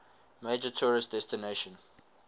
major tourist destination